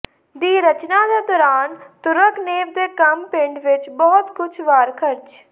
ਦੀ ਰਚਨਾ ਦੇ ਦੌਰਾਨ ਤੁਰਗਨੇਵ ਦੇ ਕੰਮ ਪਿੰਡ ਵਿਚ ਬਹੁਤ ਕੁਝ ਵਾਰ ਖਰਚ